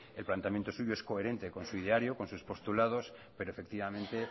el planteamiento suyo es coherente con su ideario con sus postulados pero efectivamente